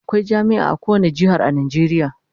Akwai jami'a a kowane jihar a Najeriya